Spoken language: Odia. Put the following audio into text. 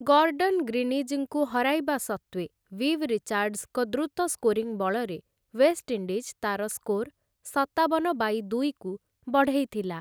ଗର୍ଡ଼ନ ଗ୍ରୀନିଜ୍‌ଙ୍କୁ ହରାଇବା ସତ୍ତ୍ୱେ, ଭିଭ୍ ରିଚାର୍ଡ଼ସ୍‌ଙ୍କ ଦ୍ରୁତ ସ୍କୋରିଂ ବଳରେ ୱେଷ୍ଟଇଣ୍ଡିଜ୍ ତା'ର ସ୍କୋର୍‌ ସତାବନ ବାଇ ଦୁଇକୁ ବଢ଼େଇଥିଲା ।